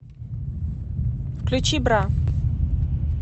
включи бра